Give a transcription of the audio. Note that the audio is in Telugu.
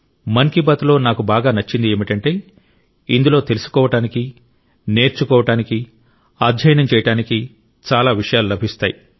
మన్ కీ బాత్లో నాకు బాగా నచ్చింది ఏమిటంటే ఇందులో తెలుసుకోవడానికి నేర్చుకోవడానికి అధ్యయనం చేయడానికి చాలా విషయాలు లభిస్తాయి